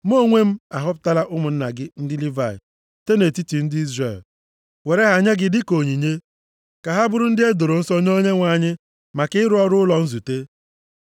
Mụ onwe m ahọpụtala ụmụnna gị ndị Livayị site nʼetiti ndị Izrel, were ha nye gị dịka onyinye, ka ha bụrụ ndị e doro nsọ nye Onyenwe anyị maka ịrụ ọrụ ụlọ nzute.